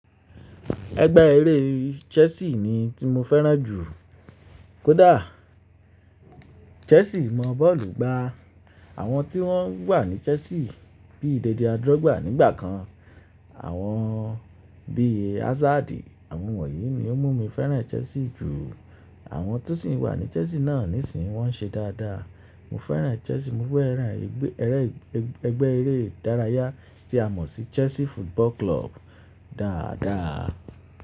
Ẹgbẹ́ eré Chelsea ni tí mo fẹ́ràn jù kódà. Chelsea mọ bọ́ọ̀lù gbá. Àwọn tí wọ́n wà ní Chelsea bíi Didier Drogba nígbà kan, àwọn bíi Hazard àwọn wọ̀nyí ni ó mú mi fẹ́ràn Chelsea jù. Àwọn tó sì wà ní Chelsea náà nísìnyí wọ́n ń ṣe dáadáa. Mo fẹ́ràn Chelsea, mo fẹ́ràn ẹgbẹ́ eré idárayá tí a mọ̀ sí Chelsea Football Club dáadáa.